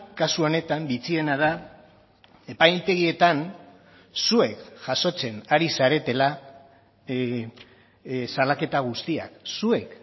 kasu honetan bitxiena da epaitegietan zuek jasotzen ari zaretela salaketa guztiak zuek